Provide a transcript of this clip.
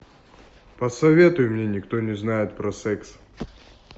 посоветуй мне никто не знает про секс